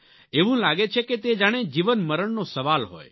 એવું લાગે છે કે તે જાણે જીવનમરણનો સવાલ હોય